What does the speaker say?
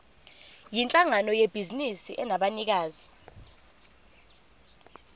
yinhlangano yebhizinisi enabanikazi